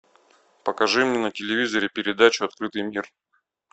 покажи мне на телевизоре передачу открытый мир